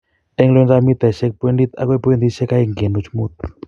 En lointap mitaisiek pointit akoi pointisiek oeng' kenuch mut.